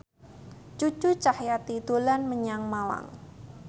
Cucu Cahyati dolan menyang Malang